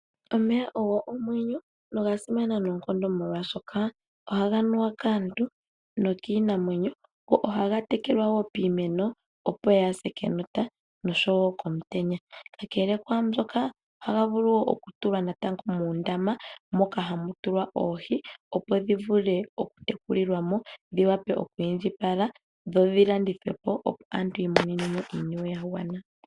Omeya ogo omwenyo nogasimana nookonkondo molwaashoka ohaga nuwa kaantu nokiinamwenyo, ohaga tekelwa woo piimeno opo kayise kenota noshowo komutenya. kakele kwaambyoka ohaga vulu okutulwa natango muundama muka ha mu tulwa oohi opo dhivule oku tekulilwamo dhi wape oku indjipala dho dhilandithwepo opo aantu yi imonenemo iiniwe yagwana.